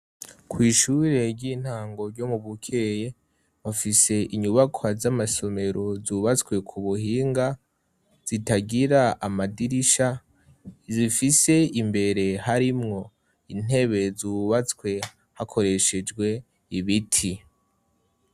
kw' ishure ry'intango ryo mu Bukeye bafise inyubaka z'amasomero zubatswe ku buhinga zitagira amadirisha, zifise imbere harimwo intebe zubatswe hakoreshejwe ibiti.